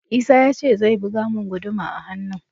Isah ya ce zai buga mun guduma a hannun